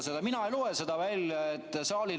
Te ütlesite, et § 105.